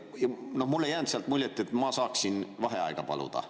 Mulle ei jäänud muljet, et ma saaksin vaheaega paluda.